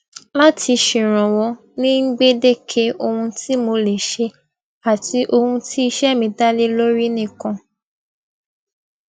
láti ṣèrànwó ní gbèdéke ohun tí mo lè ṣe àti ohun tí iṣẹ mí dá lé lórí nìkan